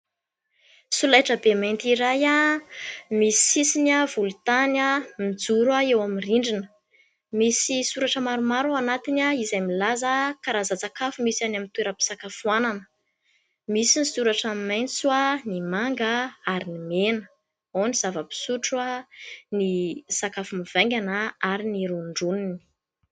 Solaitrabe mainty iray misy sisiny volontany, mijoro eo amin'ny rindrina, misy soratra maromaro ao anatiny izay milaza karazan-tsakafo misy any amin'ny toeram-pisakafoanana ; misy ny soratra maitso, ny manga ary ny mena. Ao ny zava-pisotro, ny sakafo mivaingana ary ny rondroniny.